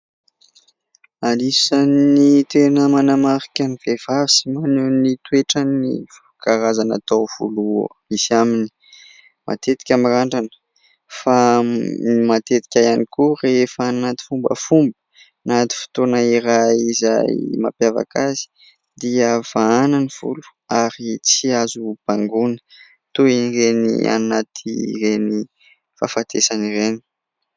Anisan'ny tena manamarika ny vehivavy sy maneho ny toetrany ny karazana tavolo misy aminy. Matetika mirandrana fa matetika ihany koa rehefa any anaty fombafomba, anaty fotoana iray izay mampiavaka azy dia vahana ny volo ary tsy azo bangoina, toy ireny anaty ireny fahafatesana ireny.